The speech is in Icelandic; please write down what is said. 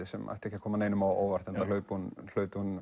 sem ætti ekki að koma neinum á óvart enda hlaut hún hlaut hún